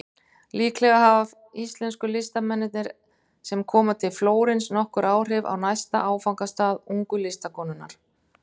Líklega hafa íslensku listamennirnir sem koma til Flórens nokkur áhrif á næsta áfangastað ungu listakonunnar.